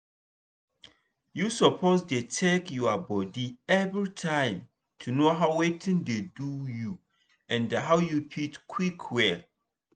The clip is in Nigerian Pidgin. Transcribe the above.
you suppose dey check your body everytime to know watin dey do you and how you fit quick well.